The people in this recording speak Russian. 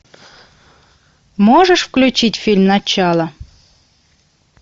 можешь включить фильм начало